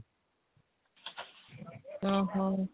ଓଃ ହୋ